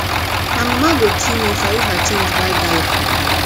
my mama go kill me if i use her change buy gala